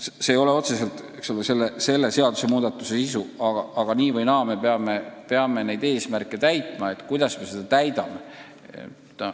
See ei ole otseselt selle seadusmuudatuse sisu, nii või naa me peame need eesmärgid saavutama.